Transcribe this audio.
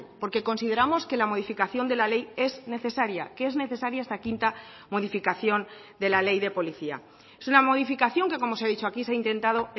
porque consideramos que la modificación de la ley es necesaria que es necesaria esta quinta modificación de la ley de policía es una modificación que como se ha dicho aquí se ha intentado